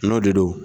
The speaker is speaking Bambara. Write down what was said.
N'o de don